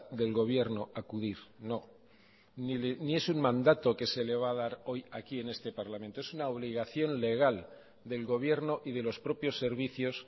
del gobierno a acudir no ni es un mandato que se le va a dar hoy aquí en este parlamento es una obligación legal del gobierno y de los propios servicios